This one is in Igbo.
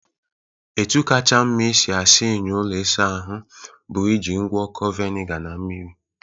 Etu kacha mma esi asa enyo ụlọ isa ahụ bụ iji ngwọkọ vinega na mmiri.